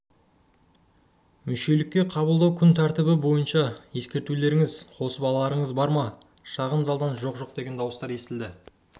мүшелікке қабылдау күн тәртібі бойынша ескертулеріңіз қосып-аларыңыз бар ма шағын залдан жоқ жоқ деген дауыстар естілді